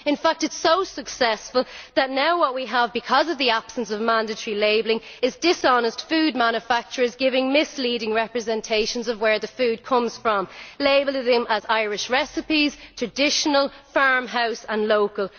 In fact, it is so successful that now what we have, because of the absence of mandatory labelling, is dishonest food manufacturers giving misleading representations of where the food comes from, labelling them as Irish recipes, traditional, farmhouse and local.